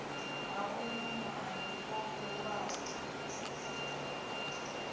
ha uyo muambi o bulwaho